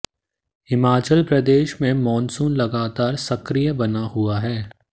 हिमाचल प्रदेश में मॉनसून लगातार सक्रिय बना हुआ है